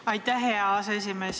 Aitäh, hea aseesimees!